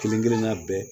Kelen kelenna bɛɛ